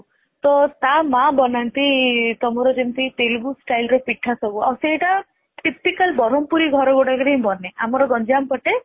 ତ ତା ମାଆ ବନାନ୍ତି ତମର ଯେମିତି ତେଲଗୁ styleରେ ପିଠା ସବୁ ଆଉ ସେଇଟା typical ବରମପୁର ଘର ମାନଙ୍କରେ ହି ବନେ ଆମର ଗଞ୍ଜାମ ପଟେ